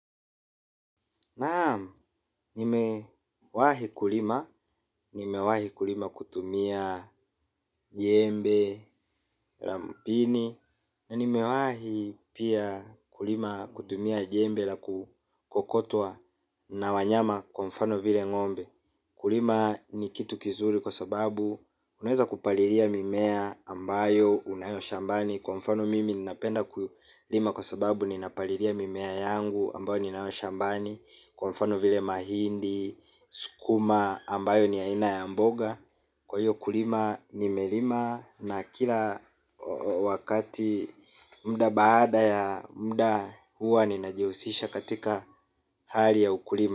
Naam nimewahi kulima, nimewahi kulima kutumia jembe la mpini na nimewahi pia kulima kutumia jembe la kukokotwa na wanyama kwa mfano vile ng'ombe. Kulima ni kitu kizuri kwa sababu unaweza kupalilia mimea ambayo unayo shambani. Kwa mfano mimi ninapenda kulima kwa sababu nina palilia mimea yangu ambayo ninayo shambani. Kwa mfano vile mahindi, sukuma ambayo ni aina ya mboga. Kwa hiyo kulima nimelima na kila wakati muda baada ya muda huwa ninajihusisha katika hali ya ukulima.